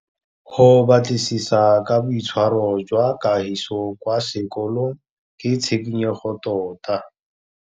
Go batlisisa ka boitshwaro jwa Kagiso kwa sekolong ke tshikinyêgô tota.